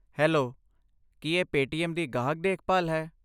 Hello, ਕੀ ਇਹ Paytm ਦੀ ਗਾਹਕ ਦੇਖਭਾਲ ਹੈ?